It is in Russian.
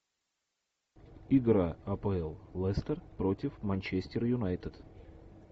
игра апл лестер против манчестер юнайтед